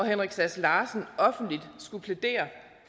henrik sass larsen offentligt skulle plædere